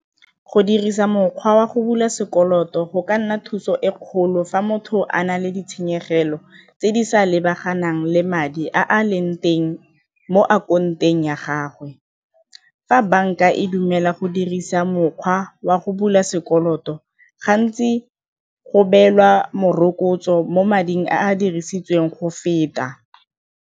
Go dirisa mokgwa wa go bula sekoloto go ka nna thuso e kgolo fa motho a na le ditshenyegelo tse di sa lebaganang le madi a a leng teng mo ya gago. Fa banka e dumela go dirisa mokgwa wa go bula sekoloto gantsi go beelwa morokotso mo mading a dirisitsweng go feta.